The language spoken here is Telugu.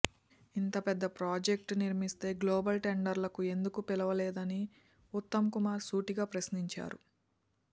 ఇంత పెద్ద ప్రాజెక్టు నిర్మిస్తే గ్లోబల్ టెండర్లకు ఎందుకు పిలువలేదని ఉత్తమ్ కుమార్ సూటిగా ప్రశ్నించారు